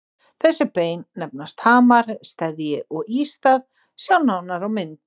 Þessi bein nefnast hamar, steðji og ístað, sjá nánar á mynd.